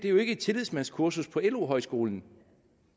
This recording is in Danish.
er jo ikke et tillidsmandskursus på lo skolen